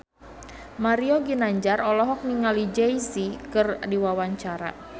Mario Ginanjar olohok ningali Jay Z keur diwawancara